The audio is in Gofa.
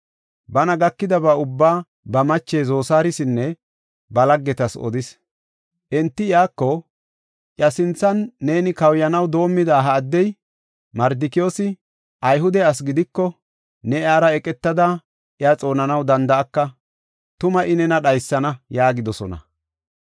Bana gakidaba ubbaa ba mache Zosaarisinne ba laggetas odis. Enti iyako, “Iya sinthan neeni kawuyanaw doomida ha addey, Mardikiyoosi, Ayhude asi gidiko, ne iyara eqetada, iya xoonanaw danda7aka; tuma I nena dhaysana” yaagidosona.